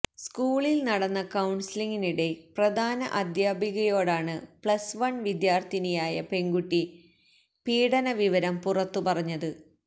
സ്കൂളില് നടന്ന കൌണ്സിലിങ്ങിനിടെ പ്രധാന അധ്യാപികയോടാണ് പ്ലസ് വൺ വിദ്യാര്ത്ഥിനിയായ പെണ്കുട്ടി പീഡനവിവരം പുറത്തു പറഞ്ഞത്